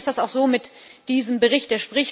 Ein bisschen ist das auch so mit diesem Bericht.